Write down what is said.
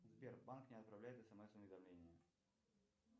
сбер банк не отправляет смс уведомления